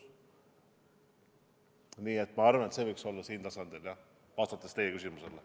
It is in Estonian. Nii et ma arvan, et see võiks olla siin tasandil, kui vastata teie küsimusele.